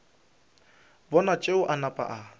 bona tšeo a napa a